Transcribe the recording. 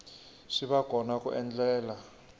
swi va kona ku endlela